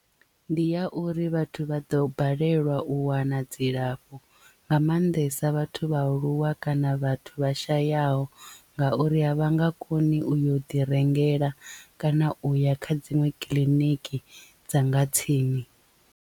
Ndi ya uri vhathu vha ḓo balelwa u wana dzilafho nga maanḓesa vhathu vhaaluwa kana vhathu vha shayaho ngauri a vha nga koni u yo ḓi rengela kana u ya kha dziṅwe kiḽiniki dza nga tsini.